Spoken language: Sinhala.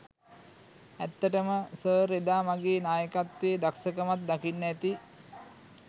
ඇත්තටම සර් එදා මගේ නායකත්වයේ දක්ෂකමත් දකින්න ඇති.